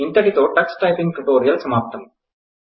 ఇంతటితో Tux typing tutorial సమాప్తం